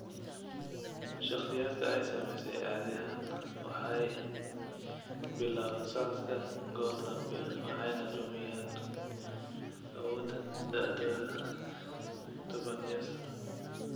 Shakhsiyaadka ay saamaysay caadi ahaan waxay bilaabaan socodka goor dambe waxayna lumiyaan awooddan da'dooda tobaneeyo sano.